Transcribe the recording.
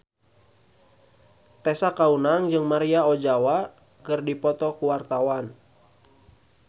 Tessa Kaunang jeung Maria Ozawa keur dipoto ku wartawan